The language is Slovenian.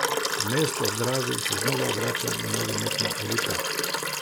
V mesto ob Dravi se znova vrača nogometna elita.